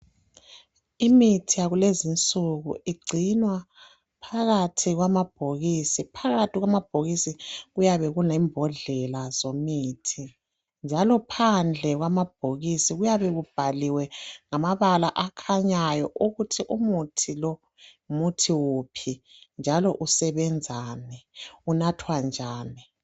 Imithi yakulezinsuku igcinwa phakathi kwamabhokisi, phakathi kwamabhokisi kuyabe kulembodlela zomithi njalo phandle kwamabhokisi kuyabe kubhaliwe ngamabala akhanyayo ukuthi umuthi lo ngumuthi wuphi njalo usebenzani, unathwa njani